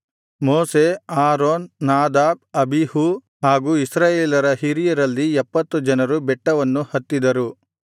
ಮೋಶೆ Aaron Nadab Abihu ಹಾಗೂ ಇಸ್ರಾಯೇಲರ ಹಿರಿಯರಲ್ಲಿ ಎಪ್ಪತ್ತು ಜನರು ಬೆಟ್ಟವನ್ನು ಹತ್ತಿದರು